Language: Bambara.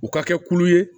U ka kɛ kulu ye